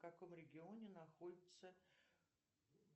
в каком регионе находится